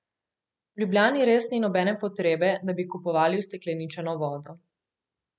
V Ljubljani res ni nobene potrebe, da bi kupovali ustekleničeno vodo.